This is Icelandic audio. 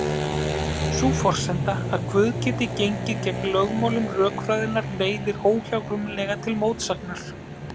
Sú forsenda að Guð geti gengið gegn lögmálum rökfræðinnar leiðir óhjákvæmilega til mótsagnar.